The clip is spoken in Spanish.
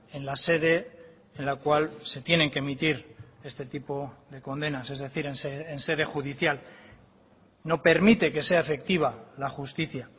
en la sede en la cual se tienen que emitir este tipo de condenas es decir en sede judicial no permite que sea efectiva la justicia